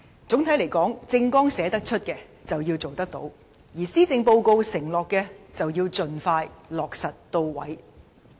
總體而言，政綱的承諾要履行，而施政報告的措施要盡快落實。